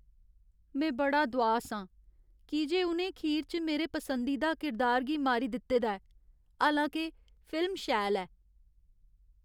में बड़ा दुआस आं, की जे उ'नें खीर च मेरे पसंदीदा किरदार गी मारी दित्ते दा ऐ, हालां के फिल्म शैल ऐ।